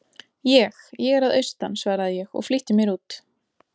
Ég. ég er að austan, svaraði ég og flýtti mér út.